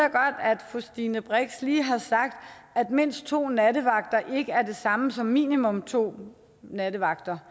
fru stine brix lige har sagt at mindst to nattevagter ikke er det samme som minimum to nattevagter